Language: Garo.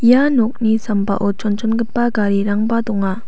ia nokni sambao chonchongipa garirangba donga.